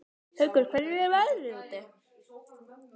Haukur, hvernig er veðrið úti?